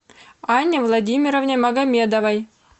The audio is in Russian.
анне владимировне магомедовой